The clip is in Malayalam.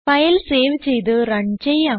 ഫയൽ സേവ് ചെയ്ത് റൺ ചെയ്യാം